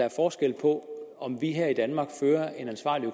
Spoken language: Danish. er forskel på om vi her i danmark fører en ansvarlig